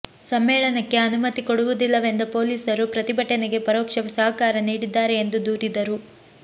ಸಮ್ಮೇಳನಕ್ಕೆ ಅನುಮತಿ ಕೊಡುವುದಿಲ್ಲವೆಂದ ಪೊಲೀಸರು ಪ್ರತಿಭಟನೆಗೆ ಪರೋಕ್ಷ ಸಹಕಾರ ನೀಡಿದ್ದಾರೆ ಎಂದು ದೂರಿದರು